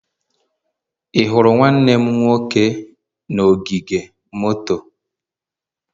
Ị hụrụ nwanne m nwoke na ogige moto?